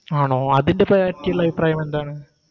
ആണോ അതിൻറെ പേപറ്റിയുള്ള അഭിപ്രായമെന്താണ്